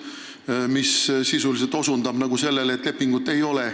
See tähendab sisuliselt seda, et lepingut ei ole